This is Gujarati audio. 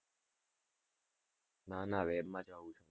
ના ના, web માં જ આવું છે.